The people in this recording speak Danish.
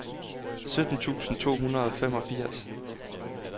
sytten tusind to hundrede og femogfirs